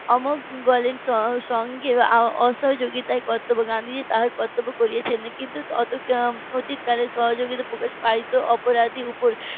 . সঙ্গে অসহযোগিতার কর্তব্য গান্ধীজি তার কর্তব্য করেছেন কিন্তু অতীত কালের সহযোগিতা প্রকাশ পেত অপরাধীর উপর